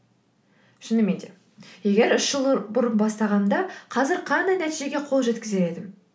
шынымен де егер үш жыл бұрын бастағанымда қазір қандай нәтижеге қол жеткізер едім